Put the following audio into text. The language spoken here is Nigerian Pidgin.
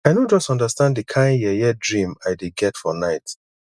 i no just understand the kin yeye dream i dey get for night